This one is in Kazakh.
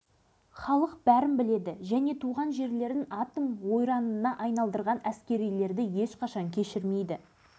бірақ ондағылар жылы сөзбен сылап-сипап шығарып салыпты меніңше олар бүйтіп түлкі сала бермейтін шығар қазір заман